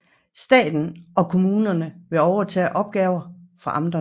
Staten og kommunerne vil overtage opgaver fra amterne